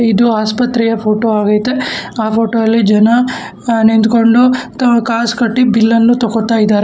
ಇದು ಆಸ್ಪತ್ರೆಯ ಫೋಟೋ ಆಗೈತೆ ಆ ಫೋಟೋ ಅಲ್ಲಿ ಜನ ಅ ನಿಂತ್ಕೊಂಡು ಕ ಕಾಸ್ ಕಟ್ಟಿ ಬಿಲ್ ಅನ್ನು ತಗೋತಾ ಇದ್ದಾರೆ.